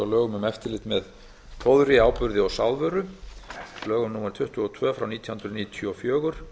um eftirlit með fóðri áburði og sáðvöru lögum númer tuttugu og tvö nítján hundruð níutíu og fjögur